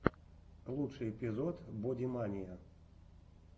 лучший эпизод бодимания